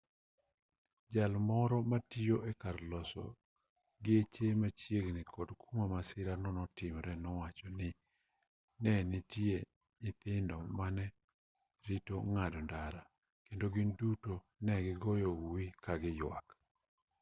jal moro matiyo e kar loso geche machiegni kod kuma masira no notimre nowacho ni ne nitie nyithindo mane rito ng'ado ndara kendo gin duto ne gigoyo uwi ka giyuak